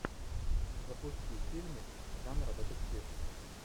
запусти фильмик жанра детектив